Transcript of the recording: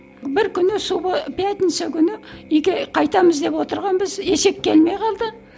бір күні пятница күні үйге қайтамыз деп отырғанбыз есек келмей қалды